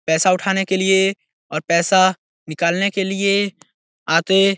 पैसा उठाने के लिए और पैसा निकालने के लिए आते --